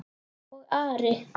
Og Ari?